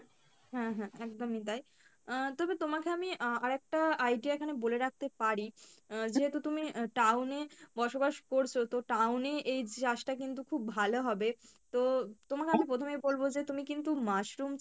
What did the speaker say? হ্যাঁ হ্যাঁ, একদমই তাই আহ তবে তোমাকে আমি আহ আরেকটা idea এখানে বলে রাখতে পারি আহ যেহেতু তুমি town এ বসবাস করছো তো town এ এই চাষ টা কিন্তু খুব ভালো হবে তো তোমাকে আমি প্রথমে বলবো যে তুমি কিন্তু mushroom